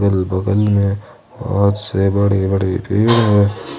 अगल बगल में बहोत से बड़े बड़े पेड़ है।